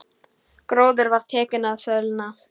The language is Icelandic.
Gróður var tekinn að sölna.